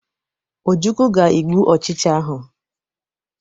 Ojukwu ga egbu ochicha ahụ.